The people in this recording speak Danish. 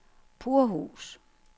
Purhus